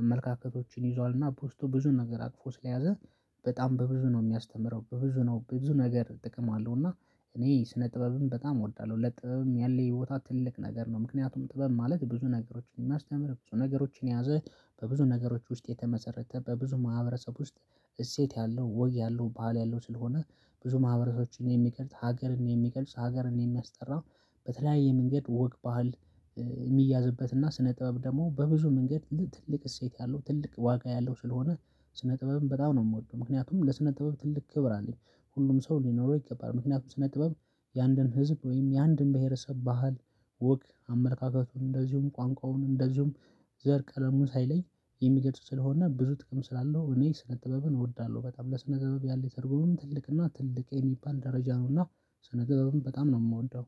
አመለካከቶችን ይዟል እና በውስጡ ብዙ ነገር አቅፎ ስለያዘ በጣም በብዙ ነው የሚያስተምረው በብዙ ነው በብዙ ነገር ጥቅም አለው። እና እኔ ስነ ጥበብም በጣም እወዳለሁ ለጥበብም ያለ ቦታ ትልቅ ነገር ነው። ምክንያቱም ጥበብ ማለት ብዙ ነገሮችን የሚያስተምር ብዙ ነገሮችን የያዘ በብዙ ነገሮች ውስጥ የተመሰረተ በብዙ ማህበረሰብ ውስጥ እሴት ያለው ወግ ያለው ባህል ያለው ስለሆነ ብዙ ማህበረሶችን የሚገልጽ ሀገርን የሚገልጽ ሀገርን የሚያስጠራው በተለያየ መንገድ ወግ ባህል የሚያዝበትና ስነ ጥበብ ደግሞ በብዙ መንገድ ለትልቅ እሴት ያለው ትልቅ ዋጋ ያለው ስለሆነ ስነ ጥበብም በጣም ነው የምወደው ምክንያቱም ለስነ ጥበብ ትልቅ ክብር አለኝ። ሁሉም ሰው ሊኖረው ይገባል። ምክንያቱም ስነ ጥበብ የአንድን ህዝብ ወይም የአንድን ብሄረሰብ ባህል ወግ አመለካከቱን እንደዚሁም ቋንቋውን እንደዚሁም ዘር ቀለሙን ሳይለይ የሚገልጹ ስለሆነ ብዙ ጥቅም ስላለው እኔ ስነ ጥበብን እወዳለሁ በጣም ለስነ ጥበብ ያለኝ ትርጉምም ትልቅና ትልቅ የሚባል ደረጃ ነውና ስነ ጥበብን በጣም ነው የምወደው